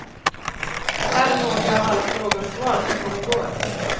Här är några av alla frågor och svar som kom i går.